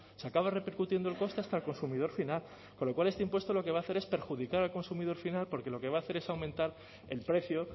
se acaba repercutiendo el coste hasta el consumidor final con lo cual este impuesto lo que va a hacer es perjudicar al consumidor final porque lo que va a hacer es aumentar el precio